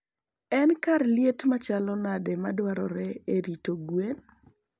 En kar liet machalo nade madwarore e rito gwen?